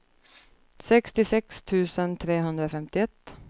sextiosex tusen trehundrafemtioett